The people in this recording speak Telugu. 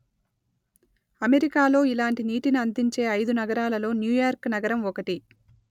అమెరికాలో ఇలాంటి నీటిని అందించే ఐదు నగరాలలో న్యూయార్క్ నగరం ఒకటి